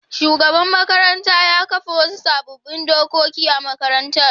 Shugaban makarantar ya kafa wasu sabbin dokoki a makarantar.